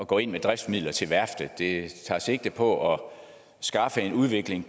gå ind med driftsmidler til værftet det tager sigte på at skaffe en udvikling